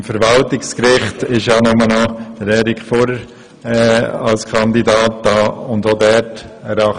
Beim Verwaltungsgericht steht nur noch Erik Furrer als Kandidat zur Verfügung.